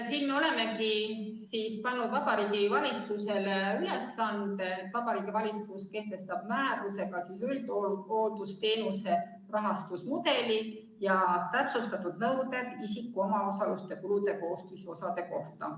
Siin me olemegi pannud Vabariigi Valitsusele ülesande, et Vabariigi Valitsus kehtestaks määrusega üldhooldusteenuse rahastusmudeli ja täpsustatud nõuded isiku omaosaluse kulude koostisosade kohta.